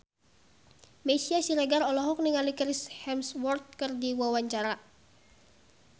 Meisya Siregar olohok ningali Chris Hemsworth keur diwawancara